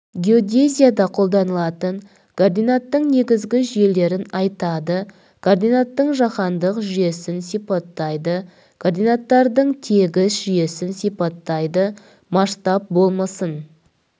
геодезияда қолданылатын координаттың негізгі жүйелерін атайды координаттың жаһандық жүйесін сипаттайды координаттардың тегіс жүйесін сипаттайды масштаб болмысын